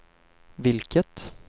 vilket